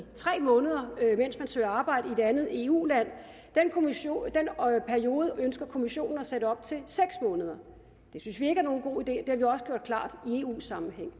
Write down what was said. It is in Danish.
tre måneder mens man søger arbejde i et andet eu land den periode ønsker kommissionen at sætte op til seks måneder det synes vi ikke er nogen god idé det har vi også gjort klart i eu sammenhæng